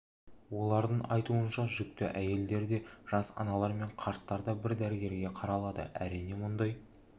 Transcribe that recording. олардың айтуынша жүкті әйелдер де жас аналар мен қарттар да бір дәрігерге қаралады әрине мұндай